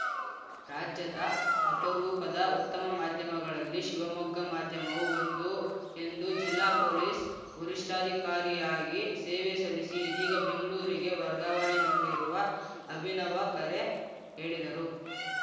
ರಾಜ್ಯದ ಅಪರೂಪದ ಉತ್ತಮ ಮಾಧ್ಯಮಗಳಲ್ಲಿ ಶಿವಮೊಗ್ಗ ಮಾಧ್ಯಮವೂ ಒಂದು ಎಂದು ಜಿಲ್ಲಾ ಪೊಲೀಸ್‌ ವರಿಷ್ಠಾಧಿಕಾರಿಯಾಗಿ ಸೇವೆ ಸಲ್ಲಿಸಿ ಇದೀಗ ಬೆಂಗ್ಳೂರಿಗೆ ವರ್ಗಾವಣೆಗೊಂಡಿರುವ ಅಭಿನವ ಖರೆ ಹೇಳಿದರು